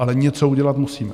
Ale něco udělat musíme.